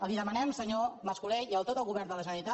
li demanem senyor mas colell i a tot el govern de la generalitat